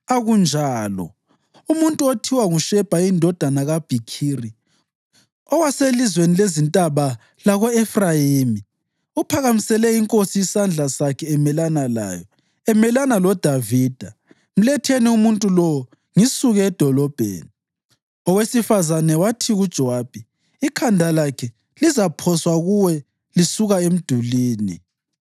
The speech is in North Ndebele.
Akunjalo. Umuntu othiwa nguShebha indodana kaBhikhiri, owaselizweni lezintaba lako-Efrayimi, uphakamisele inkosi isandla sakhe emelana layo, emelana loDavida. Mletheni umuntu lowo, ngisuke edolobheni.” Owesifazane wathi kuJowabi “Ikhanda lakhe lizaphoswa kuwe lisuka emdulini.”